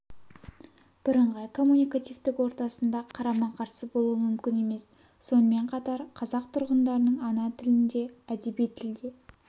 бірыңғай коммуникативтік ортасында қарама-қарсы болуы мүмкін емес сонымен қатар қазақ тұрғындарының ана тілінде әдеби тілде